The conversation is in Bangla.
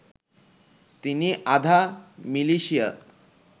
তিনি আধা মিলিশিয়া